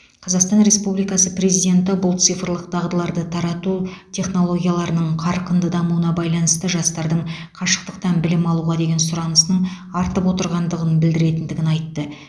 қазақстан республикасы президенті бұл цифрлық дағдыларды тарату технологияларының қарқынды дамуына байланысты жастардың қашықтықтан білім алуға деген сұранысының артып отырғандығын білдіретіндігін айтты